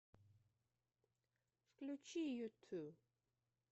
включи юту